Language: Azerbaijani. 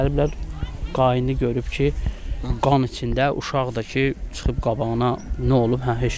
Gəliblər qaynı görüb ki, qan içində uşaq da ki çıxıb qabağına nə olub?